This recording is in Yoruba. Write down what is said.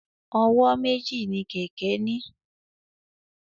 Ọwọ́ méjì ni kẹ̀kẹ́ ní.